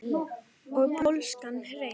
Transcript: Og pólskan hreim.